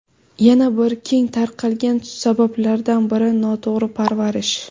Yana bir keng tarqalgan sabablardan biri – noto‘g‘ri parvarish.